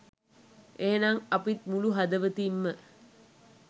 එහෙමනම් අපිත් මුළු හදවතින්ම